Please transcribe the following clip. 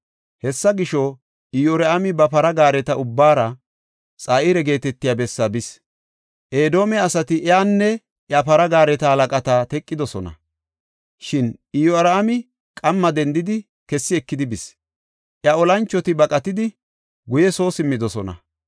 Hessa gisho, Iyoraami ba para gaareta ubbaara Xa7ira geetetiya bessa bis. Edoome asati iyanne iya para gaareta halaqata teqidosona; shin Iyoraami qamma dendidi, kessi ekidi bis. Iya olanchoti baqatidi, guye soo simmidosona.